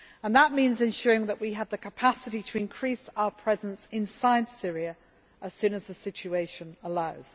That means ensuring that we have the capacity to increase our presence inside Syria as soon as the situation